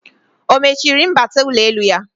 O mechiri mbata ụlọelu ya?